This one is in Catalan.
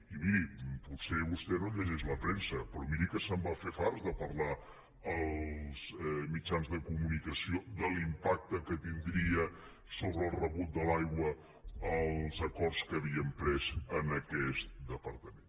i miri potser vostè no llegeix la premsa però miri que se’n va fer farts de parlar en els mitjans de comunicació de l’impacte que tindria sobre el rebut de l’aigua els acord que havíem pres en aquest departament